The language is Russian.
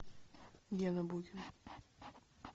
гена букин